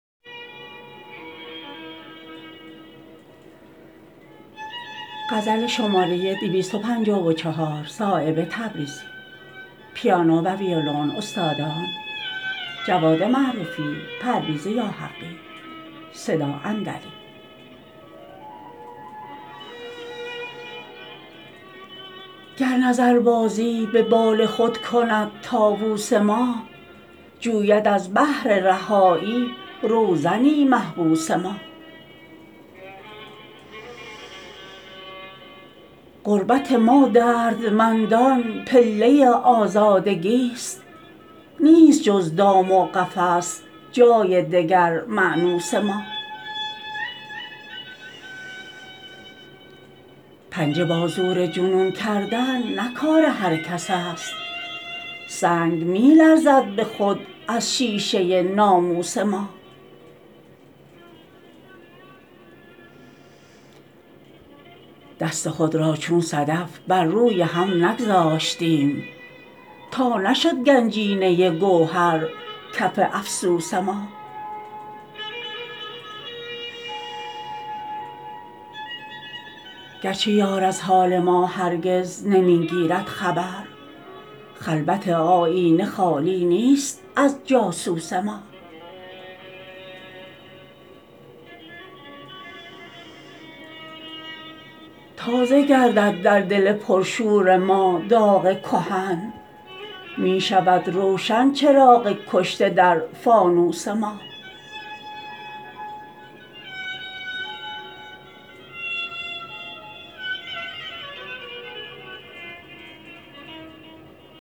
گر نظربازی به بال خود کند طاوس ما جوید از بهر رهایی روزنی محبوس ما غربت ما دردمندان پله آزادگی است نیست جز دام و قفس جای دگر مأنوس ما پنجه با زور جنون کردن نه کار هر کس است سنگ می لرزد به خود از شیشه ناموس ما دست خود را چون صدف بر روی هم نگذاشتیم تا نشد گنجینه گوهر کف افسوس ما گرچه یار از حال ما هرگز نمی گیرد خبر خلوت آیینه خالی نیست از جاسوس ما تازه گردد در دل پرشور ما داغ کهن می شود روشن چراغ کشته در فانوس ما